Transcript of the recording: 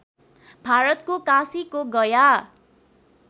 भारतको काशीको गया